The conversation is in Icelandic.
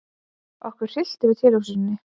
Okkur hryllti við tilhugsuninni.